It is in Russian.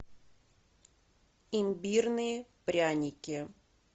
имбирные пряники